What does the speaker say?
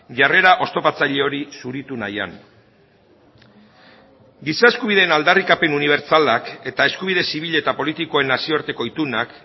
jarrera oztopatzaile hori zuritu nahian giza eskubideen aldarrikapen unibertsalak eta eskubide zibil eta politikoen nazioarteko itunak